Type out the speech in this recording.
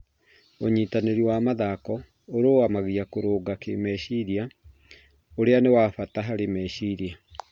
Ũnyitanĩri wa mathako ũrũgamagia kũrũnga kĩmeciria, ũrĩa nĩ wa bata harĩ meciria